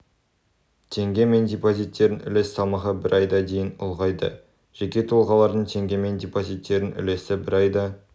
теңгемен депозиттердің үлес салмағы бір айда дейін ұлғайды жеке тұлғалардың теңгемен депозиттерінің үлесі бір айда